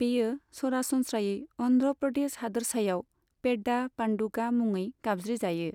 बेयो सरासनस्रायै अन्ध्र प्रदेश हादोरसायाव पेड्डा पान्डुगा मुङै गाबज्रि जायो।